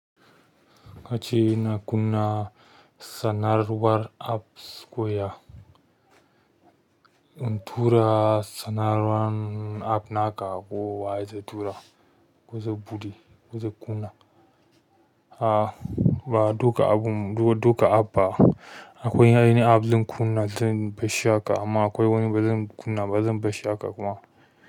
Kace yana kunna sanarwar apps koya. In tura sanarwan app naka ko wa zai tura ko zai buɗe, ko zai kunna. A ba duka abun duka app ba akwai ainihin app zan kunna, zan bashi haka amma akwai wani ba zan kunna ba zan bashi shi haka kuma.